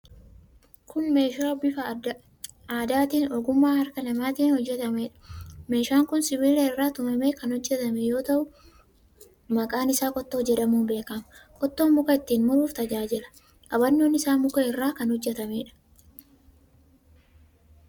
Kun meeshaa bifa aadaatiin ogummaa harka namaatiin hojjetameedha. Meeshaan kun sibiila irraa tumamee kan hojjetame yoo ta'u, maqaan isaa qottoo jedhamuun beekama. Qottoon muka ittiin muruuf tajajaila. Qabannoon isaa muka irraa kan hojjetameedha.